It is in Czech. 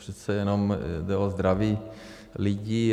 Přece jenom jde o zdraví lidí.